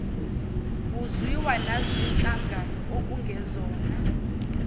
buzwiwa nayizinhlangano okungezona